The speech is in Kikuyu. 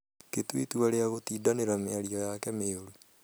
gĩtua ĩtua rĩa gũtindanĩra mĩario yake mĩũru